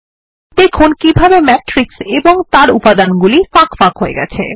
দেখুন কিভাবে ম্যাট্রিক্স এবং তার উপাদানগুলি ফাঁক ফাঁক হয়ে গেছে